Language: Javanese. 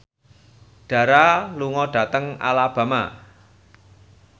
Dara lunga dhateng Alabama